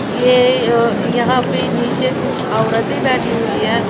ये यह यहां पे नीचे कुछ औरतें बैठी हुई है।